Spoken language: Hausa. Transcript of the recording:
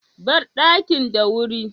Bar dakin da wuri.